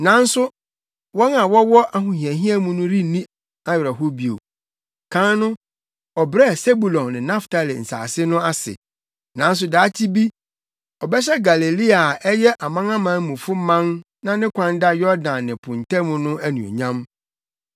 Nanso wɔn a na wɔwɔ ahohiahia mu no renni awerɛhow bio. Kan no ɔbrɛɛ Sebulon ne Naftali nsase no ase, nanso daakye bi ɔbɛhyɛ Galilea a ɛyɛ amanamanmufo man na ne kwan da Yordan ne po ntam no anuonyam.